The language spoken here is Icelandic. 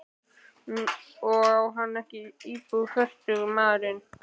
Og á hann ekki íbúð, fertugur maðurinn?